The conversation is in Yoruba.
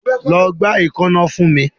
Lọ gba eekanna fun mi